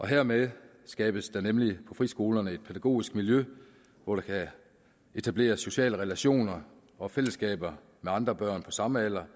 hermed skabes der nemlig på friskolerne et pædagogisk miljø hvor man kan etablere sociale relationer og fællesskaber med andre børn på samme alder